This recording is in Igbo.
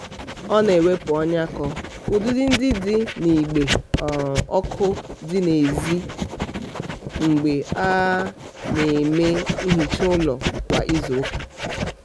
ọ na-ewepụ ọnyakọ udide ndị dị n'igbe um ọkụ dị n'ezi mgbe a um na-eme nhicha ụlọ kwa izuụka. um